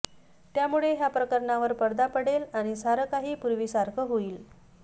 त्यामुळे ह्या प्रकरणावर पडदा पडेल आणि सारं काही पूर्वीसारखं होईल